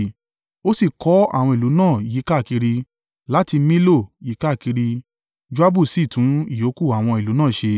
Ó sì kọ́ àwọn ìlú náà yíkákiri; láti Millo yíkákiri; Joabu sì tún ìyókù àwọn ìlú náà ṣe.